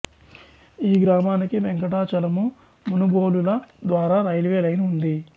ఈ గ్రామానికి వెంకటాచలము మునుబోలుల ద్వారా రైల్వే లైన్ ఉంది